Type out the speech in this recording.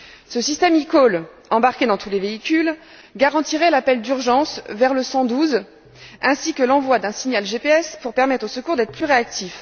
Ce système eCall embarqué dans tous les véhicules garantirait l'appel d'urgence vers le 112 ainsi que l'envoi d'un signal GPS pour permettre aux secours d'être plus réactifs.